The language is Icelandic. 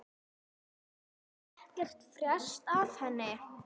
Hefur ekkert frést af henni?